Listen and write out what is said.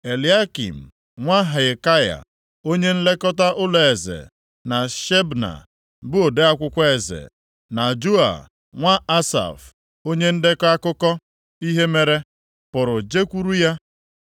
Eliakịm, nwa Hilkaya, onye nlekọta ụlọeze, na Shebna, bụ ode akwụkwọ eze, na Joa nwa Asaf, onye ndekọ akụkọ ihe mere, pụrụ jekwuru ya.